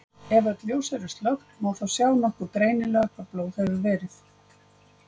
Ef öll ljós eru slökkt má þá sjá nokkuð greinilega hvar blóð hefur verið.